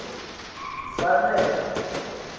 zanele